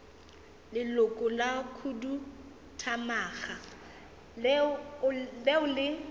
leloko la khuduthamaga leo le